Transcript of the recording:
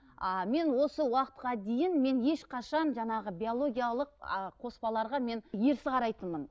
а мен осы уақытқа дейін мен ешқашан жаңағы биологиялық а қоспаларға мен ерсі қарайтынмын